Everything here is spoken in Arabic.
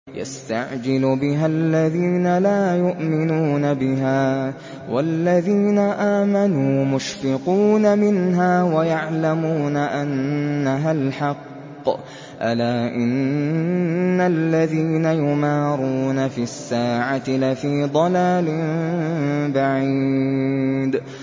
يَسْتَعْجِلُ بِهَا الَّذِينَ لَا يُؤْمِنُونَ بِهَا ۖ وَالَّذِينَ آمَنُوا مُشْفِقُونَ مِنْهَا وَيَعْلَمُونَ أَنَّهَا الْحَقُّ ۗ أَلَا إِنَّ الَّذِينَ يُمَارُونَ فِي السَّاعَةِ لَفِي ضَلَالٍ بَعِيدٍ